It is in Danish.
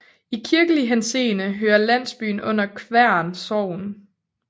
I kirkelig henseende hører landsbyen under Kværn Sogn